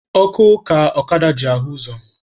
Ọkụ ka ọkada ji ahụ ụzọ